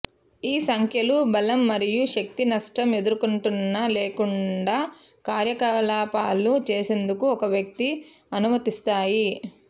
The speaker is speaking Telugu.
ఈ సంఖ్యలు బలం మరియు శక్తి నష్టం ఎదుర్కొంటున్న లేకుండా కార్యకలాపాలు చేసేందుకు ఒక వ్యక్తి అనుమతిస్తాయి